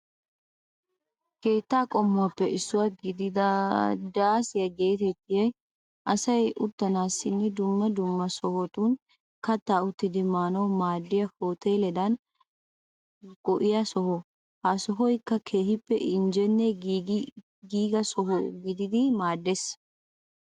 Keetta qommuwaappe issuwa gididi daasiya geetettiyogan asay uttanaassinne dumma dumma sohotun kattaa uttidi maanawu maaddiya hooteeledan go'iyaa soho. Ha sohoykka keehippe injjenne giiga soho gididi maaddeees.